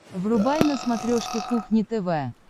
врубай на смотрешке кухня тв